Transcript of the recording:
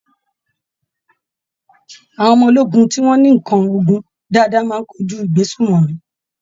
Àwọn ọmọ ológun tí wọ́n ní ǹkan ogun dáadáa máa kojú ìgbésùmọ̀mí.